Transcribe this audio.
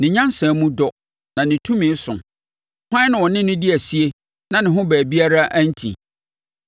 Ne nyansa mu dɔ, na ne tumi so. Hwan na ɔne no adi asie na ne ho baabiara anti?